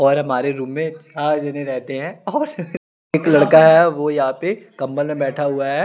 और हमारे रूम में पांच जने रहते है और एक लड़का है वो यह पे कम्बल में बैठा हुआ है ।